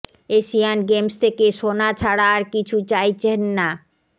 Asian Games থেকে সোনা ছাড়া আর কিছু চাইছেন না